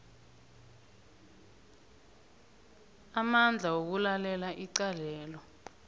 amandla wokulalela icalelo